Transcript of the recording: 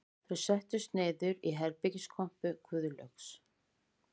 Þau settust niður í herbergiskompu Guðlaugs